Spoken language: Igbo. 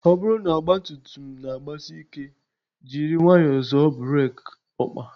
Ọ bụrụ na ọgba tum tum na agbasị ike, jiri nwayọọ zoọ burek okpa